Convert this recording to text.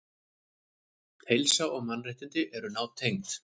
Heilsa og mannréttindi eru nátengd.